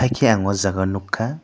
hingke ang o jaga nugkha.